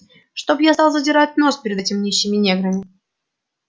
чтоб я стал задирать нос перед этими нищими неграми